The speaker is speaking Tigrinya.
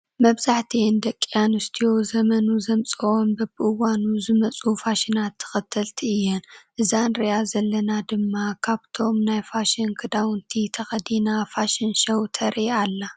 መብዛሕቲኤን ደቂ ኣንስትዮ ዘመኑ ዘምጽኦን በብእዋኑን ዝመፅኡ ፋሽናት ተክተልቲ እየን። እዛ እንርእያ ዘለና ድማ ካብቶ ናይ ፋሽን ክዳውንቲ ተከዲና ፋሽን ሸው ተርኢ ኣላ።